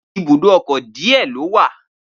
Ibùdó ọkọ̀ díẹ̀ ló wà